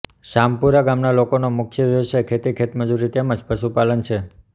સામપુરા ગામના લોકોના મુખ્ય વ્યવસાય ખેતી ખેતમજૂરી તેમ જ પશુપાલન છે